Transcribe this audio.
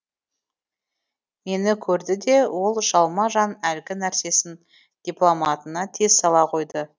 мені көрді де ол жалма жан әлгі нәрсесін дипломатына тез сала қойды